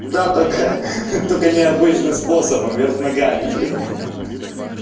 да только ха-ха только необычным способом вверх ногами блядь ха-ха